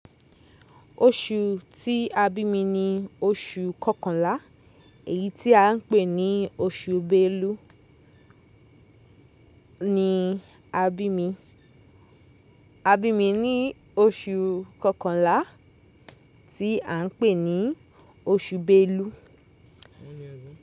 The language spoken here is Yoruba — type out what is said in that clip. Oṣù tí a bí mi ni oṣù kọkànlá èyí tí à ń pè ní oṣù Belu ni a bí mi. A bí mi ní oṣù kọkànlá tí à ń pè ní oṣù Belu.